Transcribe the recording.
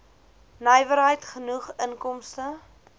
nywerheid genoeg inkomste